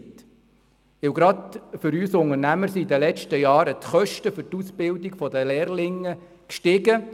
Denn gerade für uns Unternehmer sind die Kosten für die Ausbildung der Lehrlinge in den letzten Jahren gestiegen.